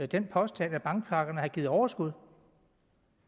den påstand at bankpakkerne har givet overskud